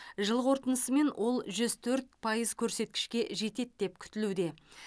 жыл қорытындысымен ол жүз төрт пайыз көрсеткішке жетеді деп күтілуде